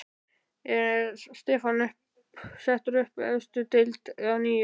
Er stefnan sett upp í efstu deild að nýju?